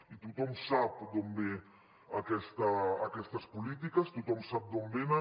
i tothom sap d’on venen aquestes polítiques tothom sap d’on venen